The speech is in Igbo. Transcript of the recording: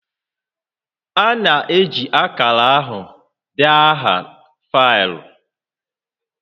A na-eji akara ahụ dee aha faịlụ